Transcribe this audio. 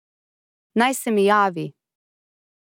Naj se mi javi.